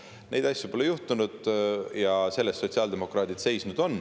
Neid asju pole juhtunud ja selle eest sotsiaaldemokraadid on seisnud.